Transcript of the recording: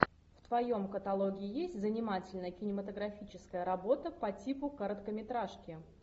в твоем каталоге есть занимательная кинематографическая работа по типу короткометражки